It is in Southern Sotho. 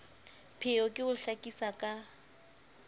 pheo ke ho hlakisa ka